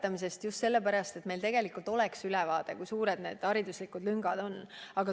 Eksameid on vaja just sellepärast, et meil tegelikult oleks ülevaade, kui suured hariduslikud lüngad on.